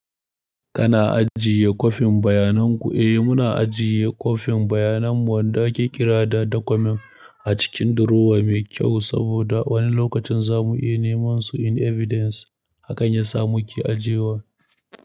Kana ajiye kwafin bayanan ku? Eh muna ajiye kwafin bayanan mu wanda aka kira da document a cikin drawer mai kyau saboda wani lokacin za mu yi nema su in evidence. Hakan ya sa muke ajiyewa.